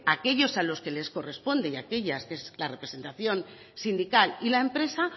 aquellos a los que les corresponde y aquellas que es la representación sindical y la empresa